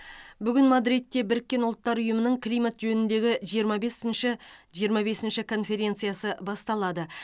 бүгін мадридте біріккен ұлттар ұйымының климат жөніндегі жиырма бесінші жиырма бесінші конференциясы басталады